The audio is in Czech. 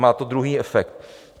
Má to druhý efekt.